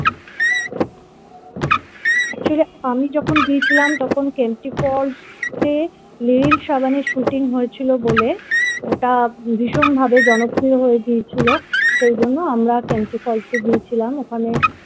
actually আমি যখন গিয়েছিলাম তখন kemty falls তে সাবানের shooting হয়েছিল বলে ওটা ভীষণভাবে জনপ্রিয় হয়ে গিয়েছিলো সেই জন্য আমরা kemty falls এ গিয়েছিলাম ওখানে